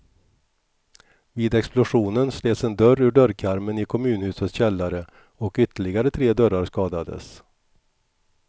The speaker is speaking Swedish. Vid explosionen slets en dörr ur dörrkarmen i kommunhusets källare och ytterligare tre dörrar skadades.